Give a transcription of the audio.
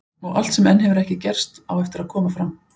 Og allt sem enn hefur ekki gerst, á eftir að koma fram.